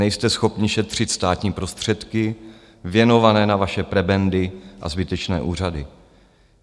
Nejste schopni šetřit státní prostředky, věnované na vaše prebendy a zbytečné úřady.